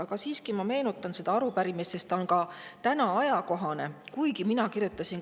Aga ma siiski meenutan selle arupärimise, sest see on täna endiselt ajakohane.